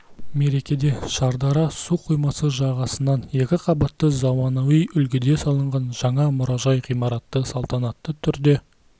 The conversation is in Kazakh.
мерекеде шардара су қоймасы жағасынан екі қабатты заманауи үлгіде салынған жаңа мұражай ғимараты салтанатты түрде